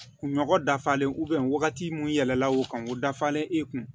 Kun nɔgɔ dafalen wagati mun yɛlɛla o kan o dafalen e kun